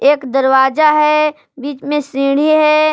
एक दरवाजा है बीच में सीढ़ी है।